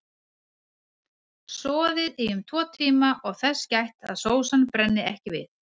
Soðið í um tvo tíma og þess gætt að sósan brenni ekki við.